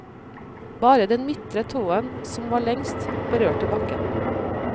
Bare den midtre tåen, som var lengst, berørte bakken.